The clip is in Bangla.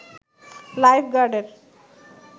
লাইফ গার্ডের